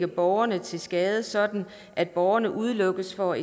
borgeren til skade sådan at borgeren udelukkes fra